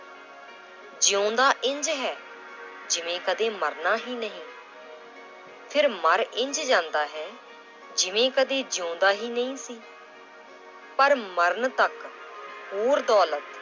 ਜਿਉਂਦਾ ਇੰਞ ਹੈ ਜਿਵੇਂ ਕਦੇ ਮਰਨਾ ਹੀ ਨਹੀਂ ਫਿਰ ਮਰ ਇੰਞ ਜਾਂਦਾ ਹੈ ਜਿਵੇਂ ਕਦੇ ਜਿਉਂਦਾ ਹੀ ਨਹੀਂ ਸੀ, ਪਰ ਮਰਨ ਤੱਕ ਹੋਰ ਦੌਲਤ